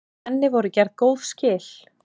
Henni voru gerð góð skil.